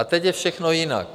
A teď je všechno jinak.